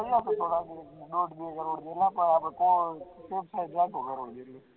રોજ બે કરોડ આપળે